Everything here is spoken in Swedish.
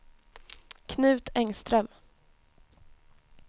Knut Engström